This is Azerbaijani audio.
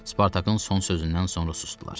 Spartakın son sözündən sonra susdular.